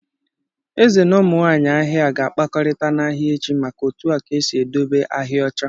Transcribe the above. Eze na ụmụ nwanyị ahịa ga-akpakọrịta n'ahịa echi maka otu a ga-esi edobe ahịa ọcha.